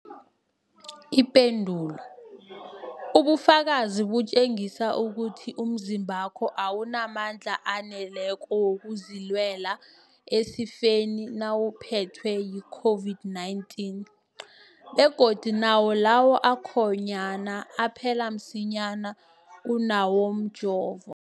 Ipendulo, ubufakazi butjengisa ukuthi umzimbakho awunamandla aneleko wokuzilwela esifeni nawuphethwe yi-COVID-19, begodu nawo lawo akhonyana aphela msinyana kunawomjovo.